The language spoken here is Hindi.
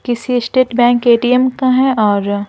किसी स्टेट बैंक एटीएम का है और --